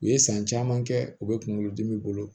U ye san caman kɛ u bɛ kunkolo dimi bolo